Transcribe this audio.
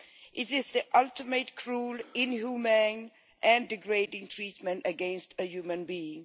It is the ultimate cruel, inhumane and degrading treatment against a human being.